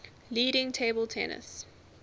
leading table tennis